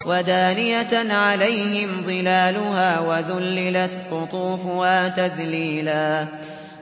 وَدَانِيَةً عَلَيْهِمْ ظِلَالُهَا وَذُلِّلَتْ قُطُوفُهَا تَذْلِيلًا